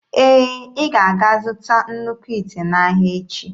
Ee, ị ga-aga zụta nnukwu ite n'ahịa echi.